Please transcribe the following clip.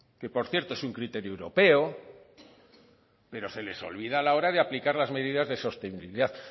que por cierto es un criterio europeo pero se les olvida a la hora de aplicar las medidas de sostenibilidad